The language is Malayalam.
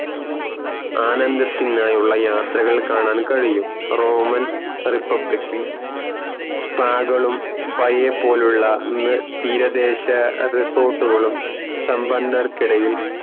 ആനന്ദനത്തിനായുള്ള യാത്രകൾ കാണാൻ കഴിയും റോമൻ republic ഇൽ spa കളും പോലുള്ള തീരാ ദേശ resort കളും സമ്പന്നർക്കിടയിൽ